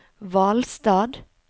Hvalstad